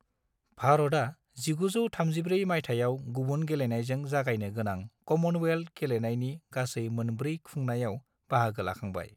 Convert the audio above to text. भारतआ 1934 मायथाइयाव गुबुन गेलेनायजों जागायनो गोनां कमनवेल्थ गेलेनायनि गासै मोनब्रै खुंनायाव बाहागो लाखांबाय।